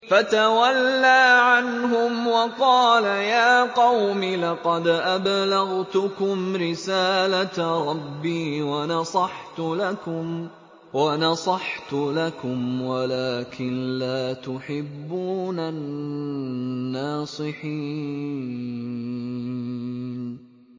فَتَوَلَّىٰ عَنْهُمْ وَقَالَ يَا قَوْمِ لَقَدْ أَبْلَغْتُكُمْ رِسَالَةَ رَبِّي وَنَصَحْتُ لَكُمْ وَلَٰكِن لَّا تُحِبُّونَ النَّاصِحِينَ